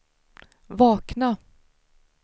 vakna